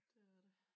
Det er det